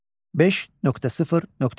5.0.3.